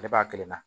Ne b'a kelen na